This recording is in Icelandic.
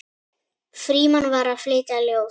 Frímann var að flytja ljóð.